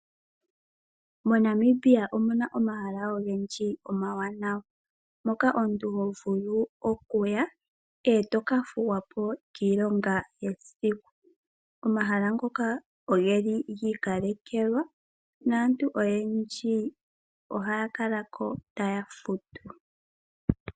MoNamibia omuna omahala ogendji omawanawa, moka omuntu hovulu okuya etokathuwa po kiilonga yesiku. Omahala ngoka oge li giikalekelwa, naantu oyendji oha ya kalako taya futu.